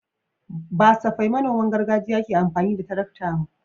Ba safai manoman gargajiya ke amfani da tarakta ba.